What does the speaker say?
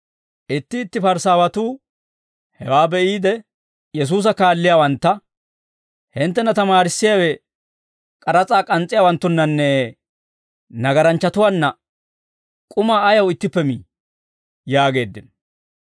Itti itti Parisaawatuu hewaa be'iide, Yesuusa kaalliyaawantta, «Hinttena tamaarissiyaawe k'aras'aa k'ans's'iyaawanttunnanne nagaranchchatuwaanna k'umaa ayaw ittippe mii?» yaageeddino.